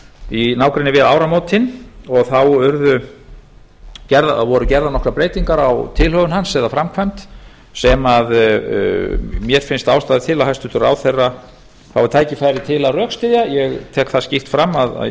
í nágrenni við áramótin og þá voru gerðar nokkrar breytingar á tilhögun hans eða framkvæmd sem mér finnst ástæða til að hæstvirtur ráðherra fái tækifæri til að rökstyðja ég tek það skýrt fram